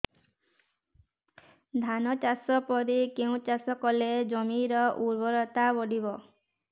ଧାନ ଚାଷ ପରେ କେଉଁ ଚାଷ କଲେ ଜମିର ଉର୍ବରତା ବଢିବ